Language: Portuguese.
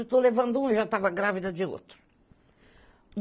Eu estou levando um e já estava grávida de outro.